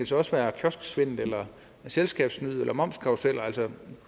så også være kiosksvindel eller selskabssnyd eller momskarruseller